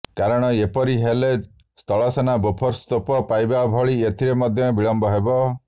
କାରଣ ଏପରି ହେଲେ ସ୍ଥଳସେନା ବୋର୍ଫସ ତୋପ ପାଇବା ଭଳି ଏଥିରେ ମଧ୍ୟ ବିଳମ୍ବ ହେବ